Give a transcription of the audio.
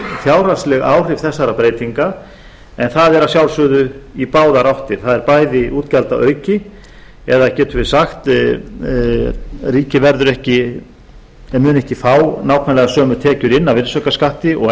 fjárhagsleg áhrif þessara breytinga en það að er að sjálfsögðu í báðar áttir það er bæði útgjaldaauki eða getum við sagt ríkið mun ekki fá nákvæmlega sömu tekjur inn af virðisaukaskatti og